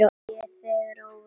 Ég þegi óviss.